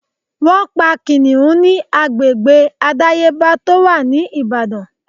Wọ́n pa Kìnnìún ni agbègbè àdáyébá tó wà ní Ìbàdàn.